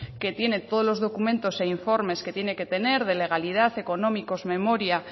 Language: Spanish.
que tiene todos los documentos e informes que tiene que tener de legalidad económicos memoria